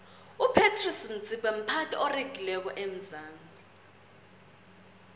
upratice motsipe mphathi oregileko wesandawnsi